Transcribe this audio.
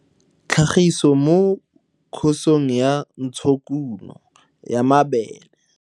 Tlhagiso mo Khosong ya Ntshokuno ya Mabele.